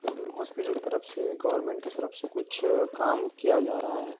और हॉस्पिटल के तरफ से गोवर्नमेंट के तरफ से कुछ काम किया जा रहा है।